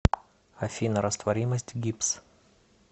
афина растворимость гипс